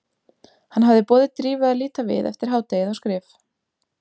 Hann hafði boðið Drífu að líta við eftir hádegið á skrif